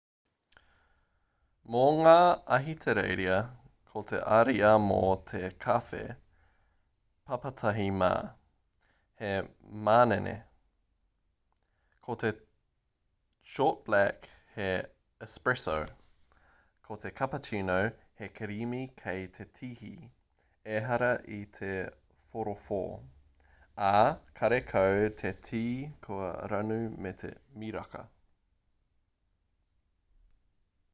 mo ngā ahitereiria ko te ariā mō te kawhe papatahi mā' he manene. ko te short black he espresso ko te cappuccino he kirimi kei te tihi ehara i te whorowho ā karekau te tī kua ranu me te miraka